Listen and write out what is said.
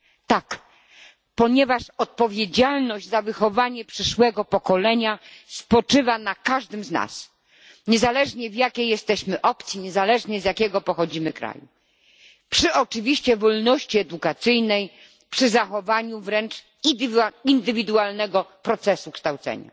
Tak, ponieważ odpowiedzialność za wychowanie przyszłego pokolenia spoczywa na każdym z nas niezależnie, z jakiej jesteśmy opcji, niezależnie z jakiego pochodzimy kraju, przy oczywiście wolności edukacyjnej, przy zachowaniu wręcz indywidualnego procesu kształcenia.